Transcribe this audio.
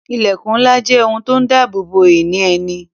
Ilẹkun ńlá jẹ́ ohun tó ń dabobo ǹkan ìní ẹni